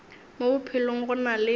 mo bophelong go na le